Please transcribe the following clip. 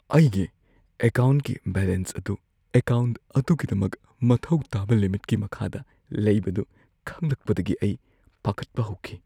ꯑꯩꯒꯤ ꯑꯦꯀꯥꯎꯟꯠꯀꯤ ꯕꯦꯂꯦꯟꯁ ꯑꯗꯨ ꯑꯦꯀꯥꯎꯟꯠ ꯑꯗꯨꯒꯤꯗꯃꯛ ꯃꯊꯧ ꯇꯥꯕ ꯂꯤꯃꯤꯠꯀꯤ ꯃꯈꯥꯗ ꯂꯩꯕꯗꯨ ꯈꯪꯂꯛꯄꯗꯒꯤ ꯑꯩ ꯄꯥꯈꯠꯄ ꯍꯧꯈꯤ꯫